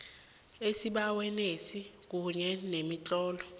esibawenesi kunye nemitlolo